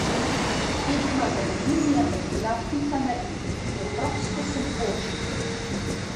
Tekma z Aluminijem je bila pika na i, preprosto sem počil.